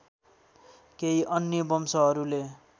केही अन्य वंशहरूले